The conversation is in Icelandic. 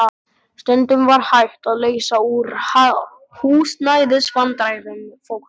Stundum var hægt að leysa úr húsnæðisvandræðum fólks.